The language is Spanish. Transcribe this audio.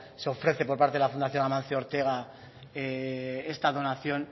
se ofrece por parte de la fundación amancio ortega esta donación